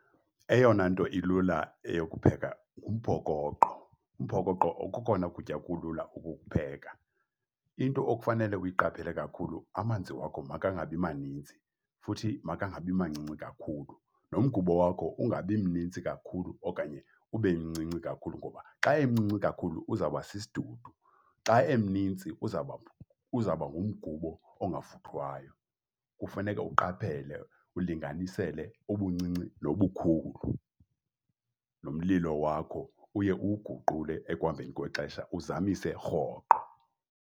Eyona nto ilula eyokupheka ngumphokoqo, umphokoqo kokona kutya kulula ukukupheka. Into okufanele uyiqaphele kakhulu, amanzi wakho makangabi maninzi futhi makangabi mancinci kakhulu. Nomgubo wakho ungabi mnintsi kakhulu okanye ube mncinci kakhulu ngoba xa emncinci kakhulu uzawuba sisidudu, xa eminintsi uzawuba, uzawuba ngumgubo ongavuthwayo. Kufuneke uqaphele, ulinganisele ubuncinci nobukhulu. Nomlilo wakho uye uwuguqule ekuhambeni kwexesha, uzamise rhoqo.